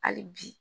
Hali bi